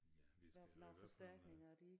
Ja vi skal jo i hvert fald